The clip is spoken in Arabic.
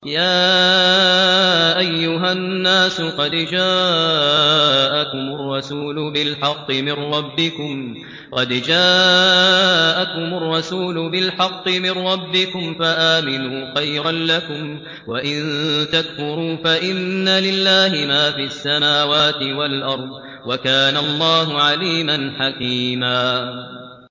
يَا أَيُّهَا النَّاسُ قَدْ جَاءَكُمُ الرَّسُولُ بِالْحَقِّ مِن رَّبِّكُمْ فَآمِنُوا خَيْرًا لَّكُمْ ۚ وَإِن تَكْفُرُوا فَإِنَّ لِلَّهِ مَا فِي السَّمَاوَاتِ وَالْأَرْضِ ۚ وَكَانَ اللَّهُ عَلِيمًا حَكِيمًا